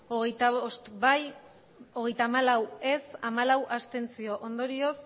hogeita bost ez hogeita hamalau abstentzioak hamalau ondorioz